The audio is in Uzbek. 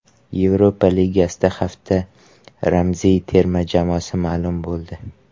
Yevropa Ligasida hafta ramziy terma jamoasi ma’lum bo‘ldi.